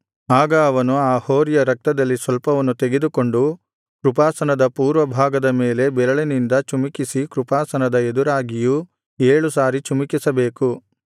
ಆಗ ಅವನು ಆ ಹೋರಿಯ ರಕ್ತದಲ್ಲಿ ಸ್ವಲ್ಪವನ್ನು ತೆಗೆದುಕೊಂಡು ಕೃಪಾಸನದ ಪೂರ್ವಭಾಗದ ಮೇಲೆ ಬೆರಳಿನಿಂದ ಚಿಮುಕಿಸಿ ಕೃಪಾಸನದ ಎದುರಾಗಿಯೂ ಏಳು ಸಾರಿ ಚಿಮುಕಿಸಬೇಕು